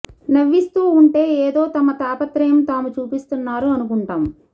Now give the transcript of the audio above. నవ్విస్తూ ఉంటె ఎదో తమ తాపత్రయం తాము చూపిస్తున్నారు అనుకుంటాం